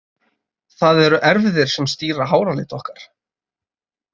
Það eru erfðir sem stýra háralit okkar.